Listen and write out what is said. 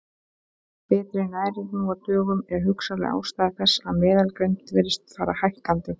Betri næring nú á dögum er hugsanleg ástæða þess að meðalgreind virðist fara hækkandi.